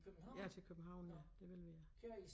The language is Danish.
Ja til København ja det ville vi ja